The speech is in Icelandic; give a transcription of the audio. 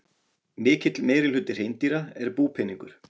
Mikill meirihluti hreindýra er búpeningur.